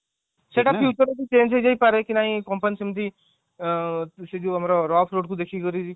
ସେଇଟା future କୁ change ହେଇ ଯାଇ ପାରେ କି ନାହିଁ company ସେମିତି ସେଇ ଯୋଉ ଆମର rough road କୁ ଦେଖିକରି